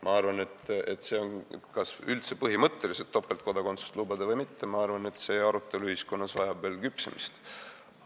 Ma arvan, et see arutelu, kas üldse põhimõtteliselt topeltkodakondsust lubada või mitte, vajab veel ühiskonnas küpsemist.